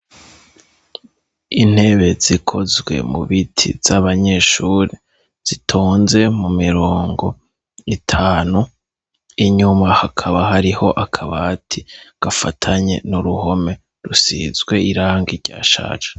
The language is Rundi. Intebe zikozwe mu biti z'abanyeshuri zitonze mu mirongo itanu, inyuma hakaba hariho akabati gafatanye n'uruhome rusizwe irangi ryashaje.